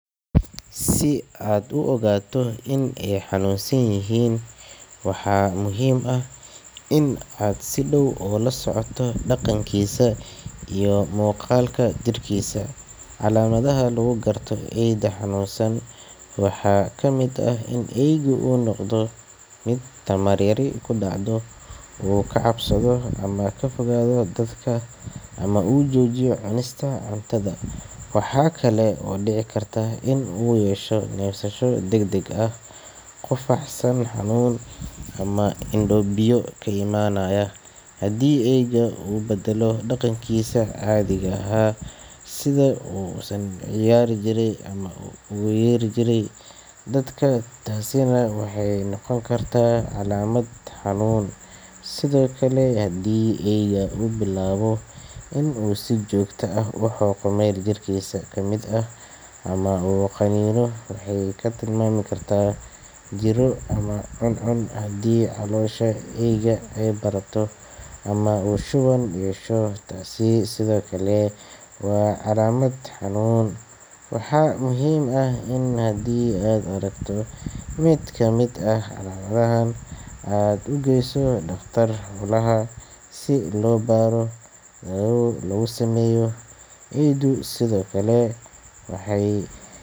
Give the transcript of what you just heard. Si aad u ogaato in eygu caafimaad qabo ama uu xanuunsanyahay, waxaa muhiim ah in aad si dhab ah ula socoto dhaqankiisa iyo muuqaalka jirkiisa. Calaamadaha lagu garto eyga xanuunsan waxaa ka mid ah: In uu noqdo mid tamar yar ku dacdho In uu ka cabsado ama ka fogaado dadka In uu joojiyo cunista cuntada In uu yeesho neefsasho culus, qufac, san xanuun, ama indho biyo ka imaanaya In uu beddelo dhaqankiisii caadiga ahaa, sida ciyaarta ama dhawaqa uu samayn jiray In uu bilaabo xoqid joogto ah meel jirkiisa ka mid ah ama uu qaniino, taas oo tilmaami karta jidh-xanuun ama cuncun In calooshiisu bararto ama shuban uu yeesho Haddii aad aragto calaamad ka mid ah calaamadahan, waxaa muhiim ah in aad si dhaqso leh u geyso dhakhtar xoolaha si baaritaan iyo daaweyn loo sameeyo.